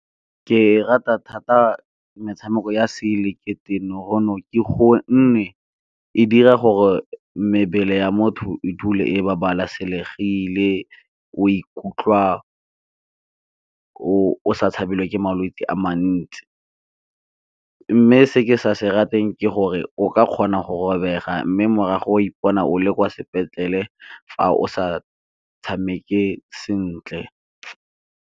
Ke rata thata metshameko ya se ileketeroniki go nne e dira gore mebele ya motho e dule e babalesegile, o ikutlwa o sa tshabelelwe ke malwetse a mantsi. Mme se ke sa se rateng ke gore o ka kgona go robega mme morago o ipona o le kwa sepetlele fa o sa tshameke sentle.